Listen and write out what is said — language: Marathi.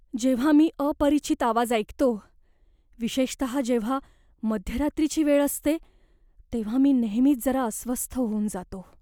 जेव्हा मी अपरिचित आवाज ऐकतो, विशेषतः जेव्हा मध्यरात्रीची वेळ असते, तेव्हा मी नेहमीच जरा अस्वस्थ होऊन जातो.